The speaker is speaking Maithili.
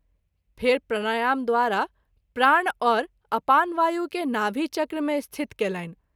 फेरि प्राणायाम द्वारा प्राण और अपान वायु के नाभि चक्र मे स्थित कएलनि।